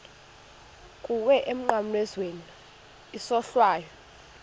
kuwe emnqamlezweni isohlwayo